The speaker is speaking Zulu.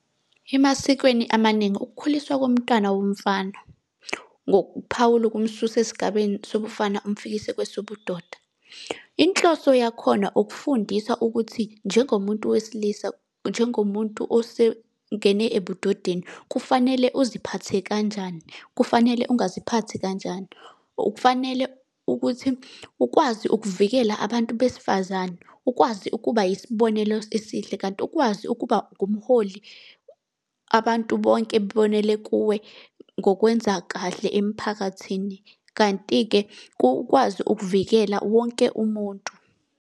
Emasikweni amaningi ukukhuliswa komntwana womfana, ngokuphawula okumususa esigabeni sobufana kumfikise kwesobudoda. Inhloso yakhona ukufundisa ukuthi njengomuntu wesilisa, njengomuntu osengene ebudodeni, kufanele uziphathe kanjani, kufanele ungaziphathi kanjani. Okufanele ukuthi ukwazi ukuvikela abantu besifazane, ukwazi ukuba yisibonelo esihle. Kanti ukwazi ukuba ngumholi abantu bonke babonele kuwe ngokwenza kahle emphakathini, kanti-ke kukwazi ukuvikela wonke umuntu.